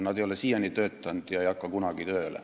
Need ei ole siiani töötanud ega hakka kunagi tööle.